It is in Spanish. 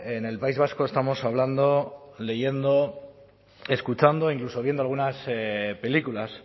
en el país vasco estamos hablando leyendo escuchando incluso viendo algunas películas